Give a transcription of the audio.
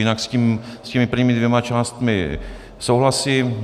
Jinak s těmi prvními dvěma částmi souhlasím.